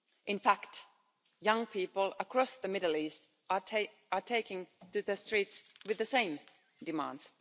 In fact, young people across the Middle East are taking to the streets with the same demands.